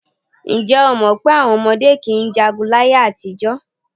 Ǹjẹ́́ o mọ̀ pé àwọn ọmọdé kì í jagun láyé-àtijọ́?